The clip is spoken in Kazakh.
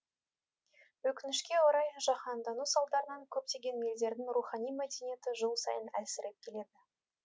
өкінішке орай жаһандану салдарынан көптеген елдердің рухани мәдениеті жыл сайын әлсіреп келеді